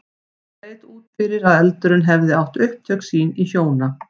Það leit út fyrir að eldurinn hefði átt upptök sín í hjóna